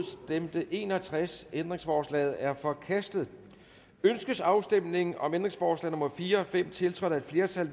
stemte en og tres ændringsforslaget er forkastet ønskes afstemning om ændringsforslag nummer fire og fem tiltrådt af et flertal